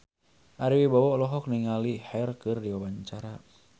Ari Wibowo olohok ningali Cher keur diwawancara